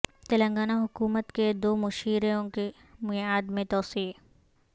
تلنگانہ حکومت کے دو مشیروں کی میعاد میں توسیع